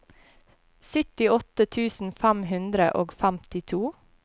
syttiåtte tusen fem hundre og femtito